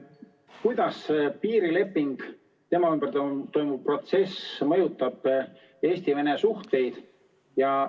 Kuidas piirilepingu ümber toimuv protsess mõjutab Eesti-Vene suhteid?